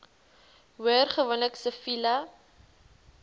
hoor gewoonlik siviele